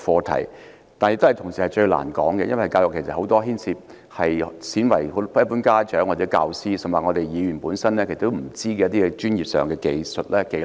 同時，教育也是最難討論的，因為教育牽涉到很多鮮為人知，連一般家長、教師，甚至議員本身也不知道的專業技術或技能。